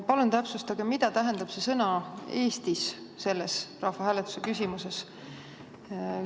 Palun täpsustage, mida tähendab sõna "Eestis" selles rahvahääletuse küsimuses.